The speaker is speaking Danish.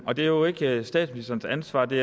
og det er jo ikke statsministerens ansvar det